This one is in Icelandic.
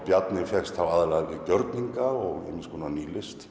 Bjarni fékkst þá aðallega við görninga og ýmis konar